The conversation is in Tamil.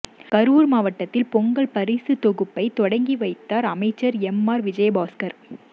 கரூர் மாவட்டத்தில் பொங்கல் பரிசுத்தொகுப்பை தொடங்கி வைத்தார் அமைச்சர் எம்ஆர் விஜயபாஸ்கர்